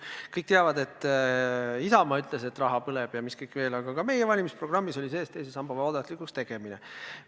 Kõik teavad, et Isamaa ütles, et raha põleb ja mis kõik veel, aga ka meie valimisprogrammis oli sees teise samba vabatahtlikuks muutmine.